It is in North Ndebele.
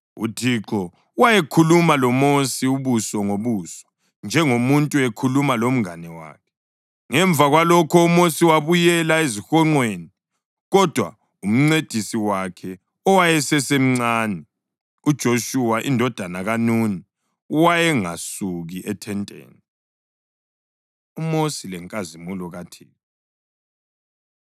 UThixo wayekhuluma loMosi ubuso ngobuso njengomuntu ekhuluma lomngane wakhe. Ngemva kwalokho uMosi wayebuyela ezihonqweni, kodwa umncedisi wakhe owayesesemncane, uJoshuwa indodana kaNuni, wayengasuki ethenteni. UMosi Lenkazimulo KaThixo